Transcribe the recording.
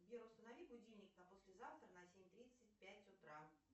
сбер установи будильник на послезавтра на семь тридцать пять утра